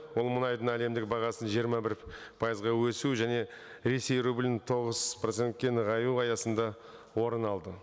ол мұнайдың әлемдік бағасын жиырма бір пайызға өсу және ресей рублін тоғыз проценкте нығаю аясында орын алды